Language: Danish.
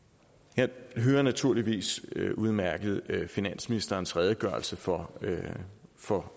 jeg hører naturligvis udmærket finansministerens redegørelse for for